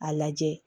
A lajɛ